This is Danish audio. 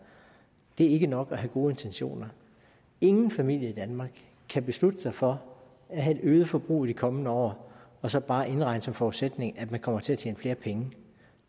det er ikke nok at have gode intentioner ingen familie i danmark kan beslutte sig for at have et øget forbrug i de kommende år og så bare indregne som forudsætning at man kommer til at tjene flere penge